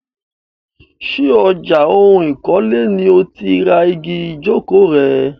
Ṣé ọjà ohun ìkọ́lé ni o ti ra igi ìjókòó rẹ?